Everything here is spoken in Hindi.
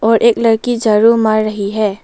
और एक लड़की झाड़ू मार रही है।